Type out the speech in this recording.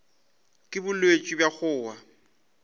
ke bolwetši bja go wa